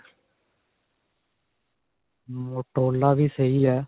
motorola ਵੀ ਸਹੀ ਹੈ.